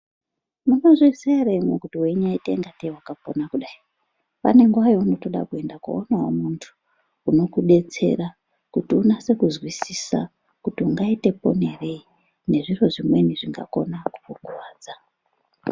Munozviziya ere kuti waitangatei wakapona kudai pane nguwa yaunodawo kuiona muntu unokudetsera kuti unase kuzwisisa kuti ungaita ponerei nezviro zvimweni zvingakona kukurwadza